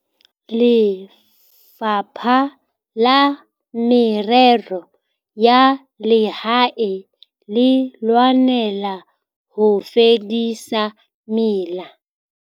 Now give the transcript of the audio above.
Lefapha la Merero ya Lehae le lwanela ho fedisa mela